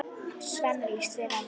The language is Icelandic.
Svenna líst vel á það.